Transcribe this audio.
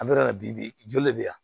An bɛ yɔrɔ min na bi bi joli bɛ yan